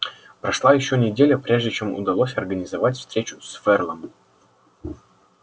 прошла ещё неделя прежде чем удалось организовать встречу с ферлом